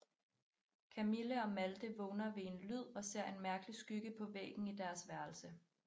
Kamille og Malte vågner ved en lyd og ser en mærkelig skygge på væggen i deres værelse